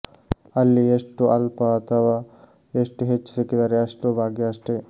ಅಲ್ಲಿ ಎಷ್ಟು ಅಲ್ಪ ಅಥವಾ ಎಷ್ಟು ಹೆಚ್ಚು ಸಿಕ್ಕಿದರೆ ಅಷ್ಟೂ ಭಾಗ್ಯ ಅಷ್ಟೇ